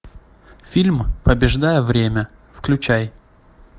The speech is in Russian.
фильм побеждая время включай